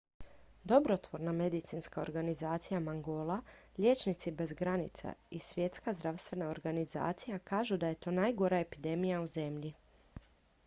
dobrotvorna medicinska organizacija mangola liječnici bez granica i svjetska zdravstvena organizacija kažu da je to najgora epidemija u zemlji